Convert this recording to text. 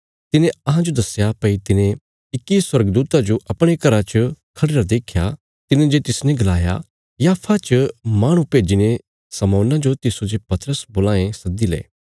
तिने अहांजो दस्या भई तिने इक्की स्वर्गदूता जो अपणे घरा च खढ़िरा देख्या तिने जे तिसने गलाया याफा च माहणु भेज्जीने शमौना जो तिस्सो जे पतरस बोलां ये सद्दी ले